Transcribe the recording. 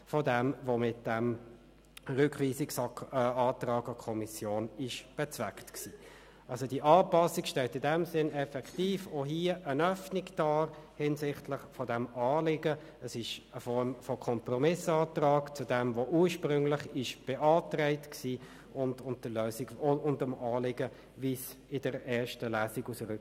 Die dritte Frage bezieht sich auf den Rückweisungsantrag, den der Grosse Rat im Zusammenhang mit der Erstellung kantonaler Gebäude beschlossen hat.